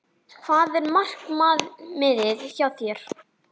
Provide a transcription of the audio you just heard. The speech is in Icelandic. Hvað er markmiðið hjá þér?